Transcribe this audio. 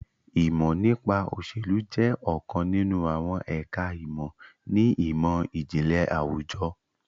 Ìmọ̀ nípa òsèlú jẹ́ ọ̀kan nínú àwọn ẹ̀ka ìmọ̀ ni ìmọ̀-ìjìnlẹ̀ àwùjọ